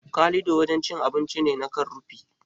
Kalido wajen cin abinci ne na kan rufi.